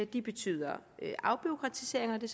de betyder afbureaukratisering og det